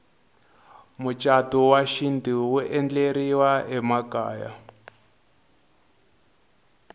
mucatu wa xintu wu endleriwa emakaya